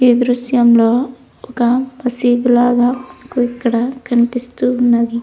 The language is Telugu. ఈ దృశ్యం లో ఒక మసీదు లాగా మనకు ఇక్కడ కనిపిస్తూ ఉన్నది.